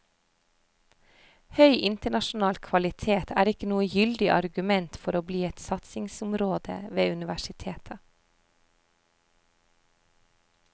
Høy internasjonal kvalitet er ikke noe gyldig argument for å bli et satsingsområde ved universitetet.